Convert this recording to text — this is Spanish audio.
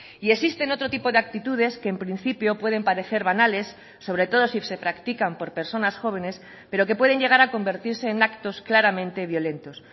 y existen otro tipo de actitudes que en principio pueden parecer banales sobre todo si se practican por personas jóvenes pero que pueden llegar a convertirse en actos claramente violentos